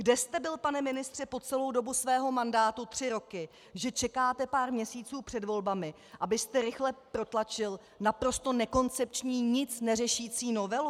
Kde jste byl, pane ministře, po celou dobu svého mandátu, tři roky, že čekáte pár měsíců před volbami, abyste rychle protlačil naprosto nekoncepční, nic neřešící novelu?